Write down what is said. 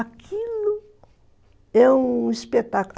Aquilo é um espetáculo.